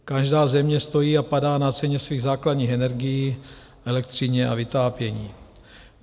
Každá země stojí a padá na ceně svých základních energií, elektřině a vytápění.